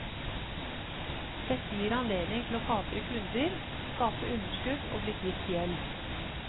Dette gir anledning til å kapre kunder, skape underskudd og bli kvitt gjeld.